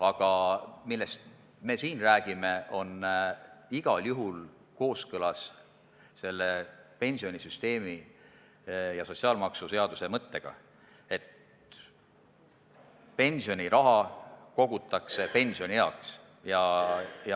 Aga see, millest meie siin räägime, on igal juhul kooskõlas pensionisüsteemi ja sotsiaalmaksuseaduse mõttega, mille järgi pensioniraha kogutakse pensionieaks.